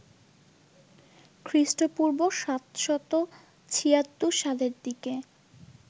খৃষ্টপূর্ব ৭৭৬ সালের দিকে